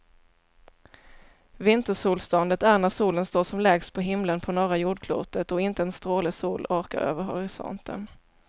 Vintersolståndet är när solen står som lägst på himlen på norra jordklotet och inte en stråle sol orkar över horisonten.